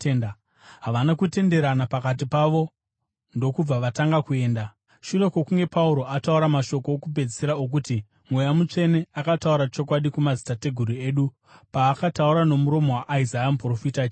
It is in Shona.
Havana kutenderana pakati pavo ndokubva vatanga kuenda, shure kwokunge Pauro ataura mashoko okupedzisira okuti: “Mweya Mutsvene akataura chokwadi kumadzitateguru enyu paakataura nomuromo waIsaya muprofita achiti: